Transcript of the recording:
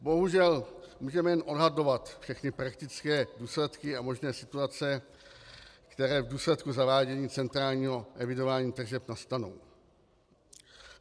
Bohužel můžeme jen odhadovat všechny praktické důsledky a možné situace, které v důsledku zavádění centrální evidování tržeb nastanou.